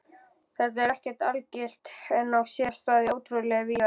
Þetta er ekki algilt en á sér stað ótrúlega víða.